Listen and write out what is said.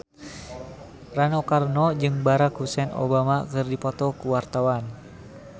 Rano Karno jeung Barack Hussein Obama keur dipoto ku wartawan